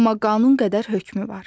Amma qanun qədər hökmü var.